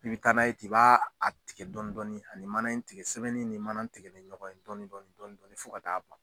I bi taa n'a ye ten i b'a tigɛ dɔɔnin dɔɔnin ani mana in tigɛ sɛbɛnni ni mana in tigɛ ni ɲɔgɔn ye dɔɔnin dɔɔnin fo ka taa ban.